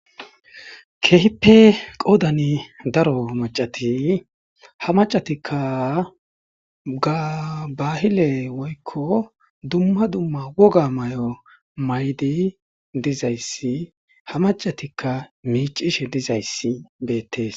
Kehippe qoodani daro macati ha macatikka gabahile woykko dumma dumma woga may7o maydi dizayssi ha macatikka miicishe dizayssi beettees.